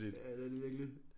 Ja det er det virkelig